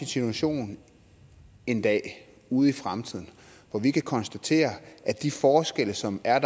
situation en dag ude i fremtiden hvor vi kan konstatere at de forskelle som der